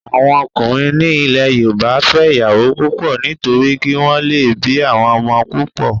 Àwọn ọkùnrin ní ilẹ̀ yóòbá n fẹ́ ìyàwó púpọ̀ nítorí kí wọ́n lè bí àwọn ọmọ púpọ̀